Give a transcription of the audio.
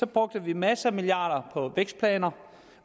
brugte vi masser af milliarder på vækstplaner